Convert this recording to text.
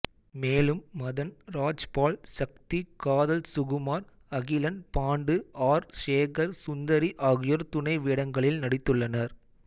மேலும் மதன் ராஜ்பால் சக்தி காதல் சுகுமார் அகிலன் பாண்டு ஆர் சேகர் சுந்தரி ஆகியோர் துணை வேடங்களில் நடிதுள்ளனர்